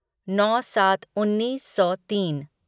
नौ सात उन्नीस सौ तीन